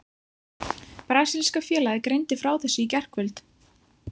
Brasilíska félagið greindi frá þessu í gærkvöld.